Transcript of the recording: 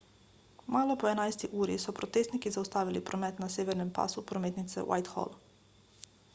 malo po 11 uri so protestniki zaustavili promet na severnem pasu prometnice whitehall